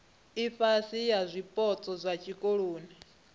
ifhasi ya zwipotso zwa tshikoloni